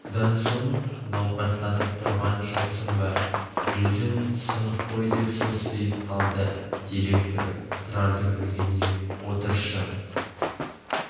содан соң науқастанып тұрған жоқсың ба жүзін сынық қой деп состиып қалды директор тұрарды көргенде отыршы